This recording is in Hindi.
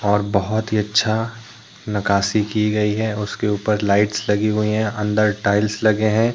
और बहोत ही अच्छा नकाशी की गई है उसके ऊपर लाइट्स लगी हुई हैं अंदर टाइल्स लगे है।